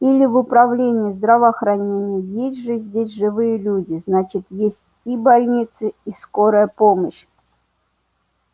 или в управление здравоохранения есть же здесь живые люди значит есть и больницы и скорая помощь